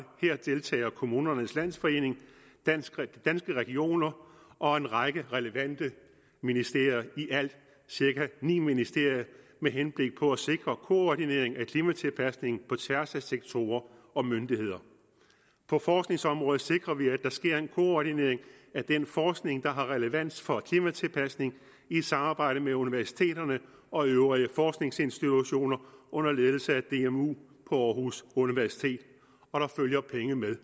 her deltager kommunernes landsforening danske regioner og en række relevante ministerier i alt cirka ni ministerier med henblik på at sikre koordinering af klimatilpasningen på tværs af sektorer og myndigheder på forskningsområdet sikrer vi at der sker en koordinering af den forskning der har relevans for klimatilpasning i samarbejde med universiteterne og øvrige forskningsinstitutioner under ledelse af dmu på aarhus universitet og der følger penge med